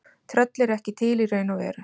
Tröll eru ekki til í raun og veru.